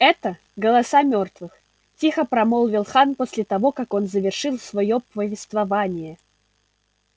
это голоса мёртвых тихо промолвил хан после того как он завершил своё повествование